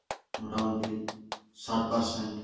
মোটামুটি ষাট percent